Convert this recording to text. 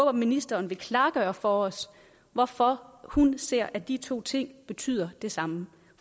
at ministeren vil klargøre for os hvorfor hun ser at de to ting betyder det samme